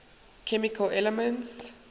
chemical elements